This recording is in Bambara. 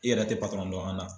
I yɛrɛ tɛ dɔn an na.